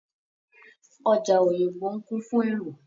Ọjà Òyìngbò ń kún fún èrò.